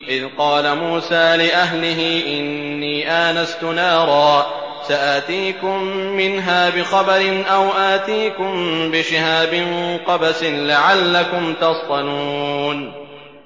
إِذْ قَالَ مُوسَىٰ لِأَهْلِهِ إِنِّي آنَسْتُ نَارًا سَآتِيكُم مِّنْهَا بِخَبَرٍ أَوْ آتِيكُم بِشِهَابٍ قَبَسٍ لَّعَلَّكُمْ تَصْطَلُونَ